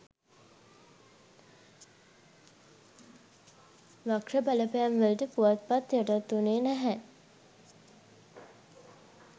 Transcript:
වක්‍ර බලපැම්වලට පුවත්පත යටත් වුනේ නැහැ.